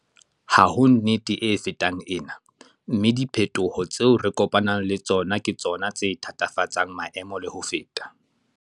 Ha ho nnete e fetang ena, mme diphetoho tseo re kopanang le tsona ke tsona tse thatafatsang maemo le ho feta.